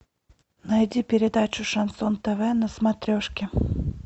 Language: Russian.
найди передачу шансон тв на смотрешке